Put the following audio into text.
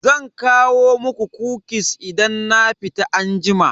Zan kawo muku "kukis" idan na fita anjima.